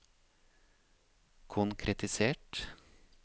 konkretisert